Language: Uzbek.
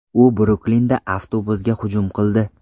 U Bruklinda avtobusga hujum qildi.